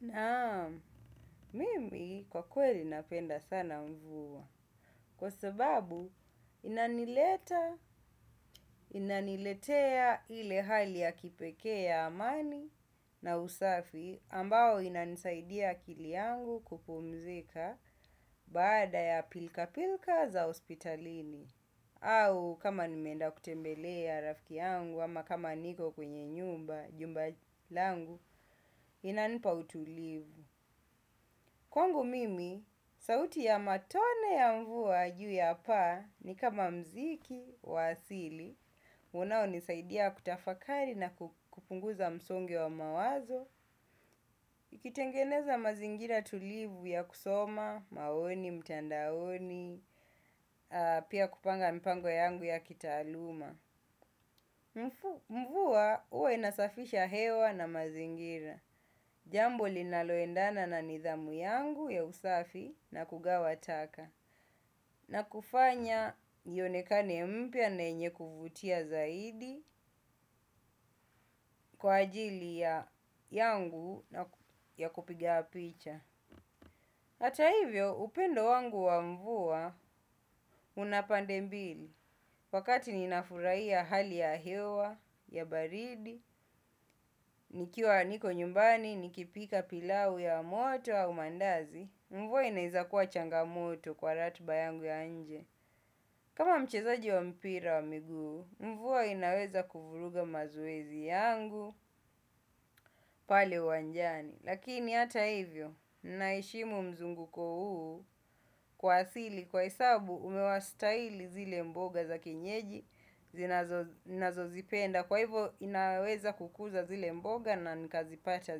Naam, mimi kwa kweli napenda sana mvuwa. Kwa sababu inanileta, inaniletea ile hali ya kipeke ya amani na usafi ambayo inanisaidia akili yangu kupumzika baada ya pilka-pilka za hospitalini. Au kama nimenda kutembelea rafiki yangu ama kama niko kwenye nyumba, jumba langu, inanipa utulivu. Kwangu mimi, sauti ya matone ya mvua juu ya paa ni kama muziki, wa asili, unao nisaidia kutafakari na kupunguza msongo wa mawazo, ikitengeneza mazingira tulivu ya kusoma, maoni, mtandaoni, pia kupanga mipango yangu ya kitaaluma. Mvua huwa inasafisha hewa na mazingira. Jambo linaloendana na nidhamu yangu ya usafi na kugawa taka. Na kufanya ionekane mpya na yenye kuvutia zaidi kwa ajili ya yangu ya kupiga picha. Hata hivyo upendo wangu wa mvua unapande mbili. Wakati ninafurai ya hali ya hewa, ya baridi, nikiwa niko nyumbani, nikipika pilau ya moto au mandazi, mvua inaiza kuwa changamoto kwa ratiba yangu ya nje. Kama mchezagi mpira wa miguu mvua inaweza kuvuruga mazoezi yangu pale uwanjani. Lakini hata hivyo, naheshimu mzungukuko huu kwa asili, kwa hesabu umewa staili zile mboga za kienyeji, zinazo zipenda, kwa hivyo inaweza kukuza zile mboga na nikazipata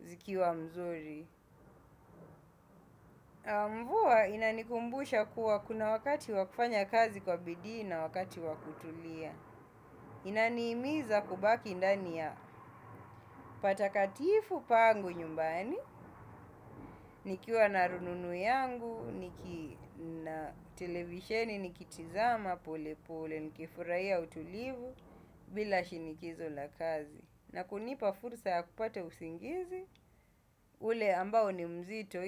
zikiwa nzuri. Mvua inanikumbusha kuwa kuna wakati wakufanya kazi kwa bidii na wakati wakutulia. Inanihimiza kubaki ndani ya patakatifu pangu nyumbani nikiwa na rununu yangu televisheni nikitazama pale. Bila shinikizo la kazi na kunipa fursa ya kupata usingizi ule amabao ni mzito.